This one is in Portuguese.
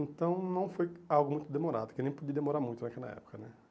Então não foi algo muito demorado, que nem podia demorar muito naquela época, né?